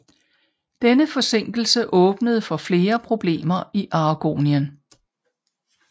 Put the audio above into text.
Denne forsinkelse åbnede for flere problemer i Aragonien